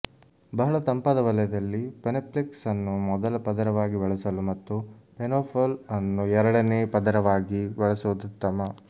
ಬಹಳ ತಂಪಾದ ವಲಯದಲ್ಲಿ ಪೆನೆಪ್ಲೆಕ್ಸ್ ಅನ್ನು ಮೊದಲ ಪದರವಾಗಿ ಬಳಸಲು ಮತ್ತು ಪೆನೊಫೊಲ್ ಅನ್ನು ಎರಡನೇ ಪದರವಾಗಿ ಬಳಸುವುದು ಉತ್ತಮ